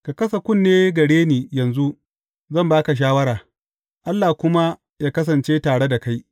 Ka kasa kunne gare ni yanzu, zan ba ka shawara, Allah kuma yă kasance tare da kai.